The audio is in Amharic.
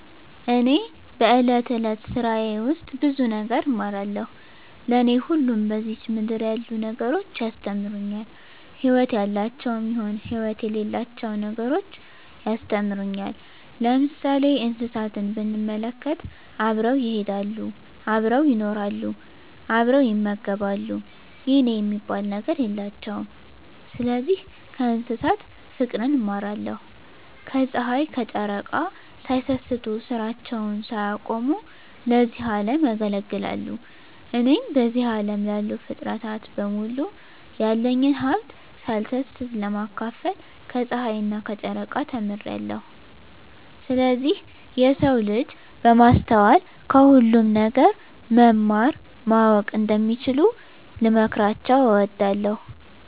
እኔ በእለት እለት ስራየ ውስጥ ብዙ ነገር እማራለሁ። ለኔ ሁሉም በዝች ምድር ያሉ ነገሮች ያስተምሩኛል ህይወት ያላቸውም ይሁን ህይወት የሌላቸው ነገሮች ያስተምሩኛል። ለምሳሌ እንስሳትን ብንመለከት አብረው ይሄዳሉ አብረው ይኖራሉ አብረው ይመገባሉ የኔ የሚባል ነገር የላቸውም ስለዚህ ከእንስሳት ፉቅርን እማራለሁ። ከጽሀይ ከጨረቃ ሳይሰስቱ ስራቸውን ሳያቆሙ ለዚህ አለም ያገለግላሉ። እኔም በዚህ አለም ላሉ ፉጥረታት በሙሉ ያለኝን ሀብት ሳልሰስት ለማካፈል ከጸሀይና ከጨረቃ ተምሬአለሁ። ስለዚህ የሰው ልጅ በማስተዋል ከሁሉም ነገር መማር ማወቅ እንደሚችሉ ልመክራቸው እወዳለሁ።